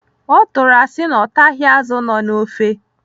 Ọ tụrụ asị na ọ taghị azụ nọ n'ofe.